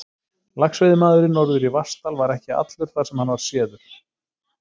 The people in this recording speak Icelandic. Laxveiðimaðurinn norður í Vatnsdal var ekki allur þar, sem hann var séður.